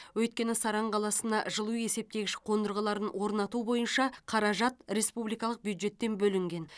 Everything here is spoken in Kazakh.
өйткені саран қаласына жылу есептегіш қондырғыларын орнату бойынша қаражат республикалық бюджеттен бөлінген